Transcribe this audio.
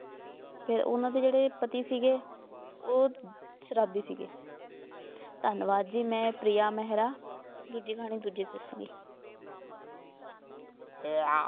ਤੇ ਉਨ੍ਹਾਂ ਦੇ ਪਤੀ ਸੀਗੇ, ਉਹ ਸ਼ਰਾਬੀ ਸੀਗੇ ਧੰਨਵਾਦ ਜੀ ਮੈਂ ਪ੍ਰਿਆ ਮਹਿਰਾ। ਦੂਜੀ ਕਹਾਣੀ ਦੂਜੇ ਚ ਦਸੂੰਗੀ